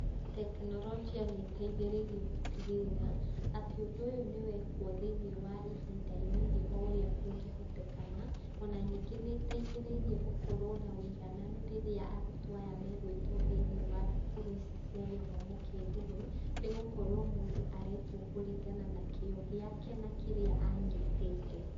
Teknorojia nĩ ĩteithĩrĩirie gũtigĩrĩra atĩ ũndũ ũyũ nĩ wekwo thĩinĩ wa ihinda inini o ũrĩa kũngĩhotekana, ona ningĩ nĩ ĩteithĩrĩriĩ gũkorwo na ũigananu rĩrĩa arutwo aya megwĩtwo thĩinĩ wa cukuru ici cia gĩthomo kĩa igũrũ nĩgũkorwo mũndũ aretwo kũrigana na kĩo gĩake na kĩrĩa anyitĩte.